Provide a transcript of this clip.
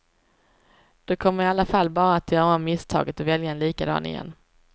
Du kommer i alla fall bara att göra om misstaget och välja en likadan igen.